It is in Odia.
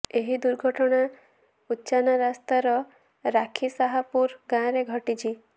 ଏହି ଦୁର୍ଘଟଣା ଉଚାନା ରାସ୍ତାର ରାଖି ଶାହପୁର ଗାଁରେ ଘଟିଛି